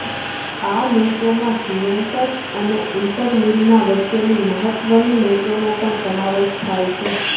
આ મેચોમાં જૂવેન્ટ્સ અને ઈન્ટર મિલાન વચ્ચેની મહત્વની મેચનો પણ સમાવેશ થાય છે